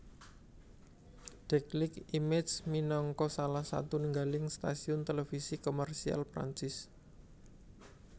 Déclic Images minangka salah satunggaling stasiun televisi komersial Perancis